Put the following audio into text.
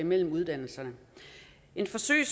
mellem uddannelserne et forsøg